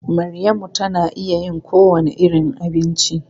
Maryamu tana iya yin kowane irin abinci.